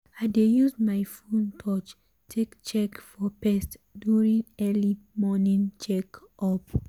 i dey use my phone touch take check for pest during early morning check up.